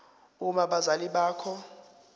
uma abazali bakho